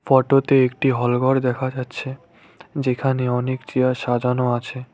Photo -তে একটি hall ঘর দেখা যাচ্ছে যেখানে অনেক চেয়ার সাজানো আছে।